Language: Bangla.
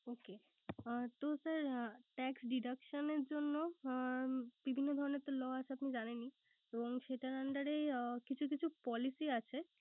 Okay তো sir tax deduction এর জন্য বিভিন্ন ধরনের Law আছে। আপনি জানেনই। তো সেটার Under এই কিছু কিছু policy আছে।